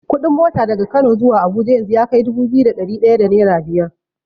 Kuɗin mota daga Kano zuwa Abuja yanzu yakai dubu biyu da ɗari ɗaya da nera biyar.